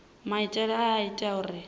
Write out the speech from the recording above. maitele aya a ita uri